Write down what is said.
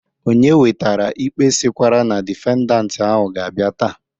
Onye wetara ikpe sịkwara na difendant ahụ ga-abịa taa